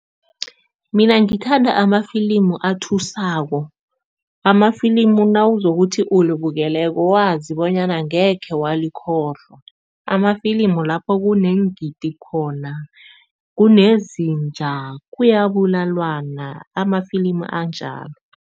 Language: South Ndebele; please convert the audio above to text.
Mina ngithanda amafilimu athusako. Amafilimu nawuzokuthi ulibukeleko wazi bonyana angekhe walikhohlwa. Amafilimu lapho kuneengidi khona, kunezinja, kuyabulalwana, amafilimu anjalo.